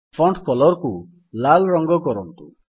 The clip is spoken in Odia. ଫଣ୍ଟ୍ କଲର୍ କୁ ଲାଲ୍ ରଙ୍ଗ କରନ୍ତୁ